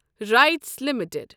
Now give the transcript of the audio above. rights limited